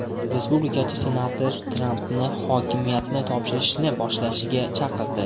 Respublikachi senator Trampni hokimiyatni topshirishni boshlashga chaqirdi.